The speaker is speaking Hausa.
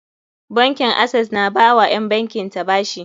Bankin Access na ba wa ƴan bankin ta bashi.